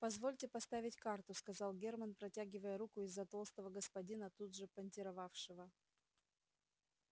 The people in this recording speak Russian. позвольте поставить карту сказал германн протягивая руку из-за толстого господина тут же понтировавшего